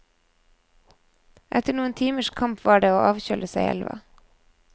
Etter noen timers kamp var det å avkjøle seg i elva.